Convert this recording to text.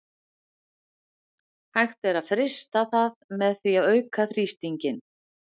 Hægt er að frysta það með því að auka þrýstinginn.